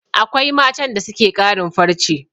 Akwai matan da suke ƙarin farce